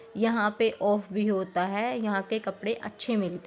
यहाँ पे ऑफ भी होता है यहाँ के कपड़े अच्छे मिलते हैं।